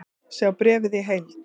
Sjá bréfið í heild